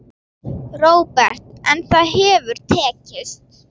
Róbert: En það hefur tekist?